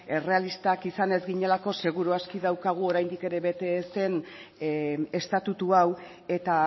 errealistak izan ez ginelako seguru aski daukagu oraindik ere bete ez den estatutu hau eta